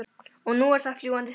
Og nú eru það fljúgandi diskar.